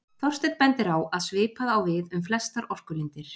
Þorsteinn bendir á að svipað á við um flestar orkulindir.